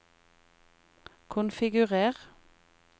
konfigurer